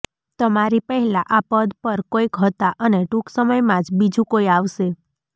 તમારી પહેલા આ પદ પર કોઈક હતા અને ટૂંક સમયમાં જ બીજું કોઈ આવશે